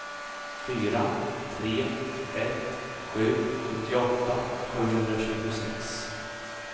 fyra tre ett sju sjuttioåtta sjuhundratjugosex